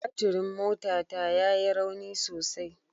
Baturin motata ya yi rauni sosai